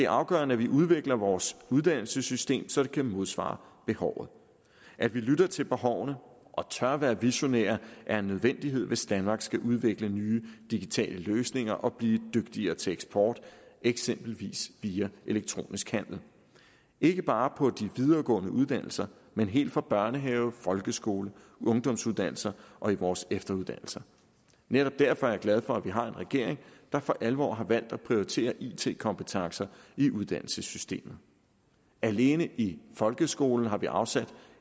afgørende at vi udvikler vores uddannelsessystem så det kan modsvare behovet at vi lytter til behovene og tør være visionære er en nødvendighed hvis danmark skal udvikle nye digitale løsninger og blive dygtigere til eksport eksempelvis via elektronisk handel ikke bare på de videregående uddannelser men helt fra børnehave folkeskole ungdomsuddannelse og i vores efteruddannelse netop derfor er jeg glad for at vi har en regering der for alvor har valgt at prioritere it kompetencer i uddannelsessystemet alene i folkeskolen har vi afsat